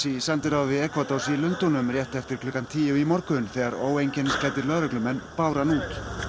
í sendiráði Ekvadors í Lundúnum rétt eftir klukkan tíu í morgun þegar óeinkennisklæddir lögreglumenn báru hann út